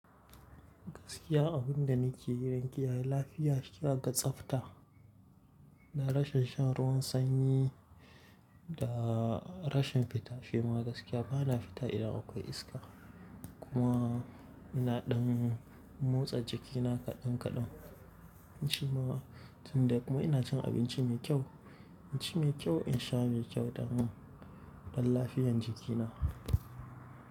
Gaskiya abun da ni ke yi don kiyaye lafiya shi ya ga tsafta, da rashin shan ruwan sanyi, da rashin fita. Shi ma gaskiya bana fita idan akwai iska. Kuma ina ɗan motsa jikina kaɗan kaɗan. Nace ma tun da kuma ina cin abinci mai kyau, inci mai kyau, in sha mai kyau don, don lafiyan jikina.